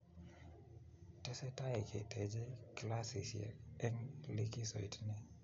tesetai ketechei klassisie eng likisoit ni.